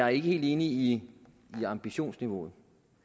er ikke helt enig i ambitionsniveauet